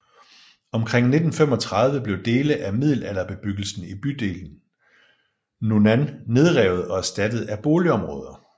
Omkring 1935 blev dele af middelalderbebyggelsen i bydelen Nunnan nedrevet og erstattet af boligområder